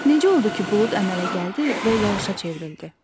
Necə oldu ki, bulud əmələ gəldi və yağışa çevrildi?